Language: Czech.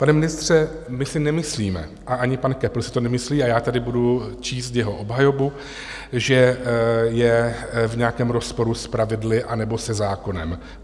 Pane ministře, my si nemyslíme a ani pan Köppl si to nemyslí, a já tady budu číst jeho obhajobu, že je v nějakém rozporu s pravidly anebo se zákonem.